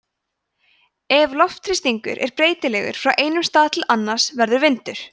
ef loftþrýstingur er breytilegur frá einum stað til annars verður vindur